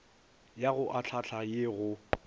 ya go ahlaahla ye go